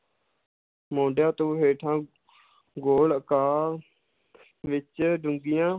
ਮੋਢਿਆਂ ਤੋਂ ਹੇਠਾਂ ਗੋਲ ਆਕਾਰ ਵਿੱਚ ਡੂੰਘੀਆਂ,